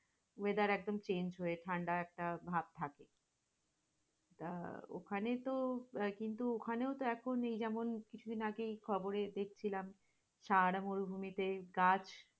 weather একদম change হয়ে ঠান্ডা একটা ভাব থাকে, আহ ওখানে তো আগেতো ওখানেও তো এখন এই যেমন দুদিন আগে খবরে দেখছিলাম, সারাটা মুরুভুমিতে গাছ